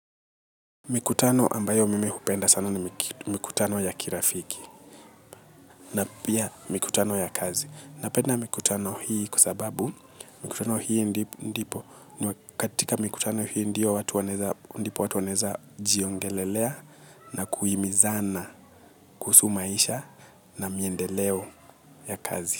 Mikutano ambayo mimi hupenda sana ni mikutano ya kirafiki na pia mikutano ya kazi. Napenda mikutano hii kwasababu mikutano hii ndipo katika mikutano hii ndio watu wanaeza jiongelelea na kuhimizana kuhusu maisha na miendeleo ya kazi.